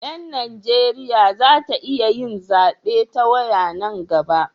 Yan Najeriya za ta iya yin zabe ta waya nan gaba